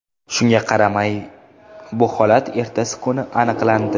Shunga qaramay, bu holat ertasi kuni aniqlandi.